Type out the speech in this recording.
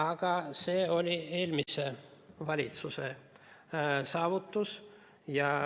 Aga see oli eelmise valitsuse saavutus.